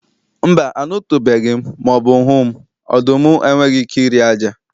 Mba, anụtụbeghị m ma ọ bụ hụ m, ọdụm enweghị ike iri ájá.